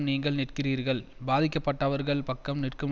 நீங்கள் நிற்கிறீர்கள் பாதிக்கப்பட்டவர்கள் பக்கம் நிற்கும்